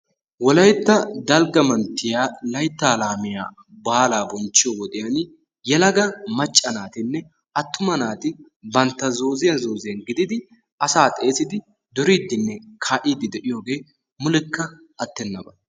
Wolaytta dalgga manttiya layttaa laamiya baalaa bonchchiyo wodiyan yelaga macca naatinne attuma naati bantta zooziyan zooziyan gididi asaa xeessidi duriidinne kaa'idi de'iyogee mulekka attennaba.